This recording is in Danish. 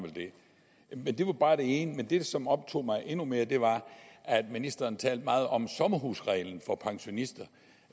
vel det det var bare det ene det som optog mig endnu mere var at ministeren talte meget om sommerhusreglen for pensionister